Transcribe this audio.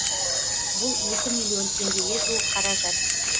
бұл екі миллион теңгеге жуық қаражат